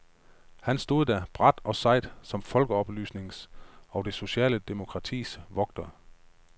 Han stod der, bravt og sejt, som folkeoplysningens og det sociale demokratis vogter.